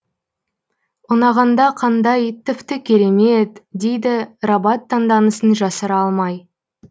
ұнағанда қандай тіпті кереме е т дейді рабат таңданысын жасыра алмай